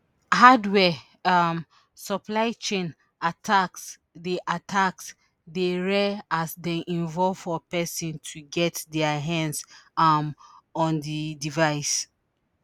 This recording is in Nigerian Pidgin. hardware um supply chain attacks dey attacks dey rare as dem involve for person to get dia hands um on di device.